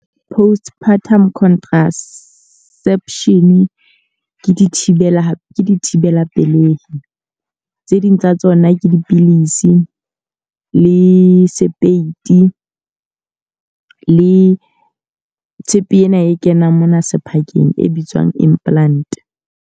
Postpartum contraception ke dithibela dithibela pelei. Tse ding tsa tsona ke dipilisi, le sepeiti, le tshepe ena e kenang mona sephakeng e bitswang implant.